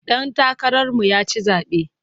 Ɗan takararmu ya ci zaɓe.